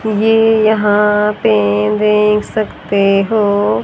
ये यहां पे देख सकते हो--